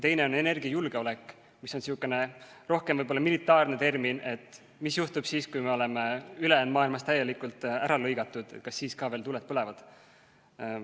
Teine on energiajulgeolek, mis on sihukene rohkem militaarne termin näitamaks seda, mis juhtub siis, kui me oleme ülejäänud maailmast täielikult ära lõigatud, ja kas siis ka veel tuled põlevad.